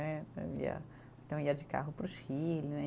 Né, eu ia, então ia de carro para o Chile, né?